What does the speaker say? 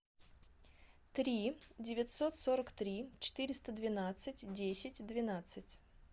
три девятьсот сорок три четыреста двенадцать десять двенадцать